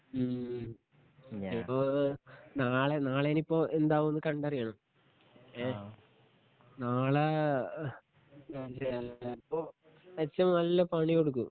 ഉം ഇനീപ്പൊ നാളെ നാളെ നിപ്പൊ എന്താവും ന്ന് കണ്ടറിയണം ഏ നാളെ ചെലപ്പൊ എച്ചമ്മ് നല്ല പണി കൊടുക്കും